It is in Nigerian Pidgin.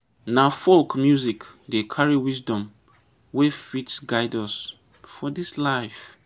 na folk music dey carry wisdom wey fit guide us for this life.